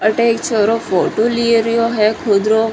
अठे एक छोरो फोटो ले रयो खुद रो।